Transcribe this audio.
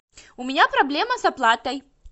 у меня проблема с оплатой